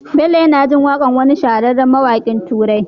Bello yAna jin waƙar wani shahararren mawakin turai